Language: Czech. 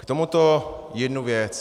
K tomuto jednu věc.